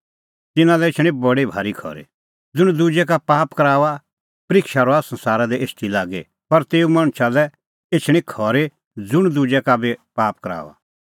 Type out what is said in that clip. तिन्नां लै एछणी बडी भारी खरी ज़ुंण दुजै का पाप कराऊआ परिक्षा रहा संसारा दी एछदी लागी पर तेऊ मणछा लै एछणी खरी ज़ुंण दुजै का बी पाप कराऊआ